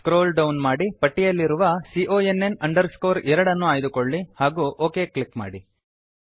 scroll down ಮಾಡಿ ಪಟ್ಟಿಯಲ್ಲಿರುವ CONN 2 ಆಯ್ದುಕೊಳ್ಳಿ ಹಾಗೂ ಒಕ್ ಕ್ಲಿಕ್ ಮಾಡಿ